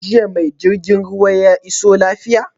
Jiya ma jirgin ruwa ya iso lafiya?